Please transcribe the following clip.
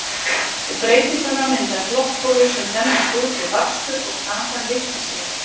við þeytinguna myndast loftbólur sem þenjast út við bakstur og kakan lyftir sér